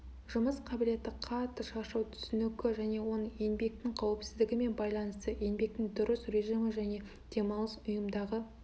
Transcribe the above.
жұмыс қабілеті қатты шаршау түсінігі және оның еңбектің қауіпсіздігімен байланысы еңбектің дұрыс режимі және демалыс ұйымдағы